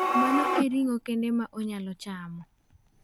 "Mano e ring'o kende ma onyalo chamo."